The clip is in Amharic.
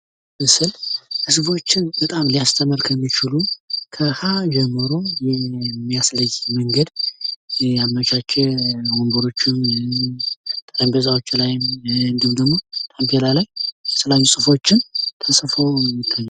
የመጀመሪያ ደረጃ ትምህርት መሰረታዊ ዕውቀትንና ክህሎቶችን በመቅረጽ ለቀጣይ የትምህርት ደረጃዎች መሠረት ይጥላል።